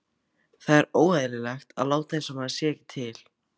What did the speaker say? Það er óeðlilegt að láta einsog maður sé ekki til.